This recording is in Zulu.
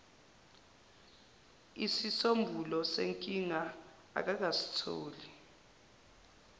isisombululo senkinga akakasitholi